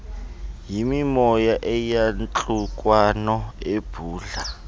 yimimoya yeyantlukwano ebhudla